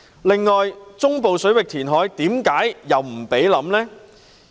另外，中部水域填海為何又不容考慮呢？